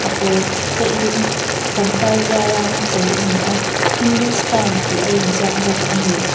a pawl te in pangpar zia rang a chei a ni a hindustan tih a inzaik bawk a ni.